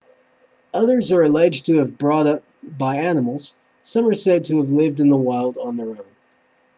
others are alleged to have been brought up by animals some are said to have lived in the wild on their own